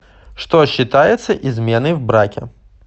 что считается изменой в браке